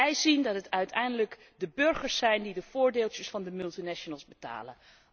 Zij zien dat het uiteindelijk de burgers zijn die de voordeeltjes van de multinationals betalen.